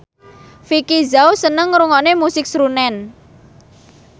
Vicki Zao seneng ngrungokne musik srunen